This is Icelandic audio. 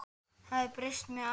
Það hafi breyst með árunum.